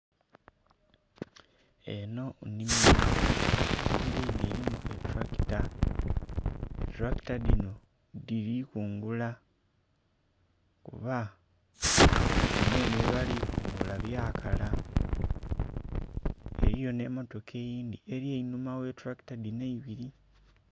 Enho nnhimilo, ennhimilo enho elimu etulakita. Etulakita dhinho, dhili kungula kuba bino enho byebali kungula, byakala. Eliyo nh'emmotoka eyindhi eli eihuma gh'etulakita dhinho eibili.